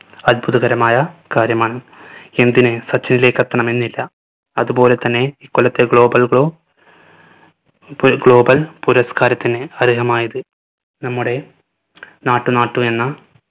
അത്ഭുതകരമായ കാര്യമാണ്. എന്തിന് സച്ചിനിലേക്ക് എത്തണമെന്നില്ല അതുപോലെതന്നെ ഈ കൊല്ലത്തെ global glo പുര global പുരസ്‌കാരത്തിന് അർഹമായത് നമ്മുടെ നാട്ടു നാട്ടു എന്ന